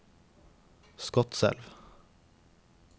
Skotselv